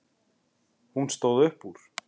Hún stóð upp úr.